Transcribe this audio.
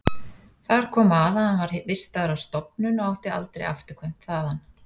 Þar kom að hann var vistaður á stofnun og átti aldrei afturkvæmt þaðan.